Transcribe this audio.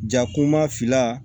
Jakuma fila